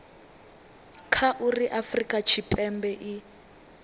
kha uri afurika tshipembe i